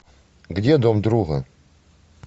где дом друга